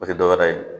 O tɛ dɔwɛrɛ ye